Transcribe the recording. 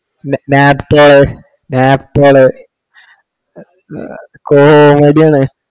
Nap~ Naptol comedy ആണ്.